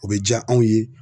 O bɛ diya anw ye.